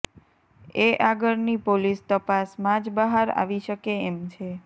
એ આગળ ની પોલીસ તપાસ માજ બહાર આવી શકે એમ છે